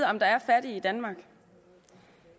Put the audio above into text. om der er fattige i danmark